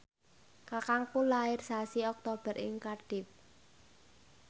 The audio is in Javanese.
kakangku lair sasi Oktober ing Cardiff